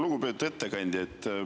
Lugupeetud ettekandja!